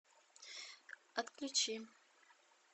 отключи